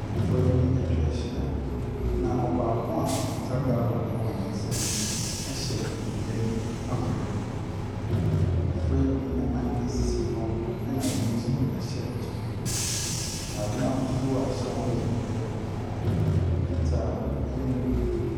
Mmofra bi atwa ahyia. Na ɔbaako a okita gallon hyɛ dua bi akorɛ mu. Mmofra bi nan sisi fam na bi nso hyɛ kyale. Ntaadeɛ ahosuo a ɛhyɛ wɔn no bi yɛ kɔkɔɔ, fitaa, ne bibire.